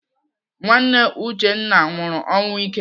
Nwanne Uchenna nwụrụ ọnwụ ike.